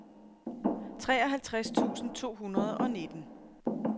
treoghalvtreds tusind to hundrede og nitten